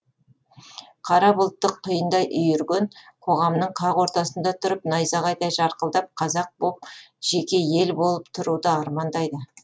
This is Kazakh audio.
қара бұлтты құйындай үйірген қоғамның қақ ортасында тұрып найзағайдай жарқылдап қазақ боп жеке ел болып тұруды армандайды